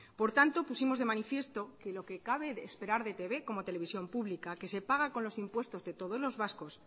por tanto pusimos de manifiesto que lo que cabe esperar de e i te be como televisión pública que se paga con los impuestos de todos los vascos